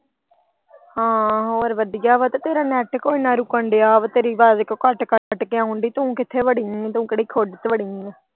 ਹਾਂ ਵਧੀਆ ਵਾ ਤੇ ਤੇਰਾ net ਕਿਉਂ ਇੰਨਾ ਰੁਕਣ ਦਿਆ ਵਾ ਤੇਰੀ ਅਵਾਜ ਕਿਉਂ ਕੱਟ ਕੱਟ ਕੇ ਆਉਣ ਦੀ ਤੂੰ ਕਿਥੇ ਵੜੀ ਆਂ ਤੂੰ ਕਿਹੜੀ ਖੁੱਡ ਚ ਵੜੀ ਆਂ।